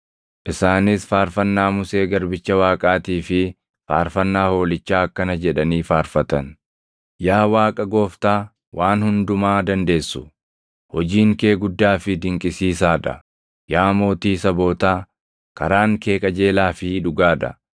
Isaanis faarfannaa Musee garbicha Waaqaatii fi faarfannaa Hoolichaa akkana jedhanii faarfatan: “Yaa Waaqa Gooftaa Waan Hundumaa Dandeessu, hojiin kee guddaa fi dinqisiisaa dha. Yaa Mootii sabootaa, karaan kee qajeelaa fi dhugaa dha.